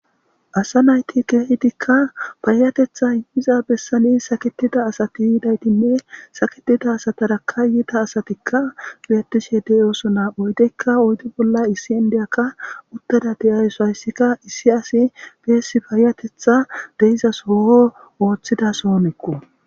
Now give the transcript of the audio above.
asa nayti keehidikka paayatetha inmiza bessani saketida asati yidaytinne saketida asatara kayyita asatikka beettishe deyoso naa oydeykka oyddi bolla issi indeyakka uttada deyayso hayssika issi asi beessi payatetha deizasooo ooththidasoonekko